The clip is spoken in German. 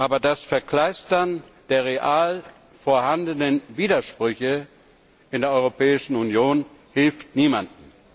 Aber das Verkleistern der real vorhandenen Widersprüche in der Europäischen Union hilft niemandem.